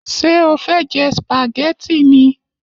Ṣé o fẹ jẹ spaghetti ni?